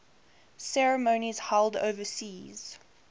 ceremonies held overseas